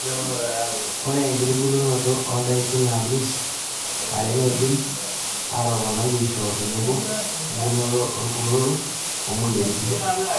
Ore enkitubulunoto oondaikin naalus are neidim atoponai eishio tenebo emtitikinot orkurto oo moyiaritin.